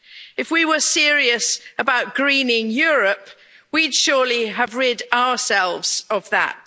If we were serious about greening Europe, we'd surely have rid ourselves of that.